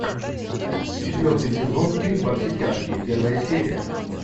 четвертый сезон фильм во все тяжкие первая серия